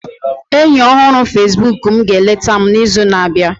enyi ọhụrụ Facebook m ga-eleta m n'izu na-abịa